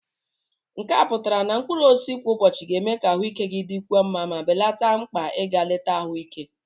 nke a pụtara na mkpụrụ osisi kwa ụbọchị ga-eme ka ahụike gị dịkwuo mma ma belata mkpa ịga leta ahụike